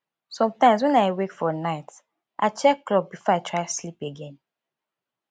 sometimes when i wake for night i check clock before i try sleep again